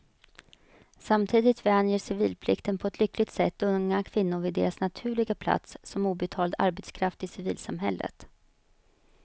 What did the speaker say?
Samtidigt vänjer civilplikten på ett lyckligt sätt unga kvinnor vid deras naturliga plats som obetald arbetskraft i civilsamhället.